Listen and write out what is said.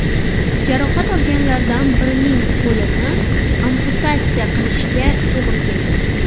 Jarohat olganlardan birining qo‘lini amputatsiya qilishga to‘g‘ri kelgan.